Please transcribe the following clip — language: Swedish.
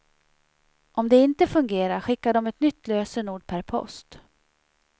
Om det inte fungerar skickar de ett nytt lösenord per post.